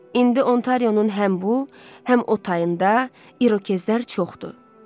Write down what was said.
İndi Ontarionun həm bu, həm o tayında İrokezlər çoxdur.